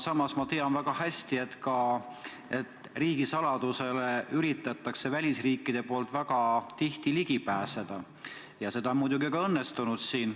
Samas ma tean väga hästi, et välisriigid üritavad väga tihti riigisaladusele ligi pääseda ja see on muidugi ka õnnestunud.